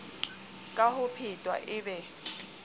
ka ho phetwa e be